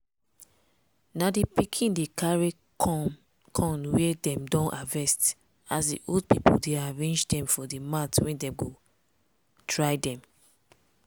na di pikin dey carry corn wey dem don harvest as di old pipo dey arrange dem for di mat wey dem go dry dem.